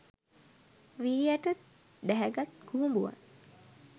වී ඇට ඩැහැගත් කුහුඹුවන්